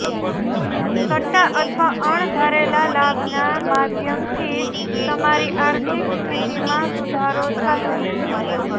સટ્ટા અથવા અણધારેલા લાભના માધ્યમથી તમારી આર્થિક સ્થિતિમાં સુધારો થશે